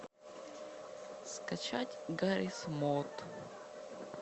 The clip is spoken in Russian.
скачать гаррис мод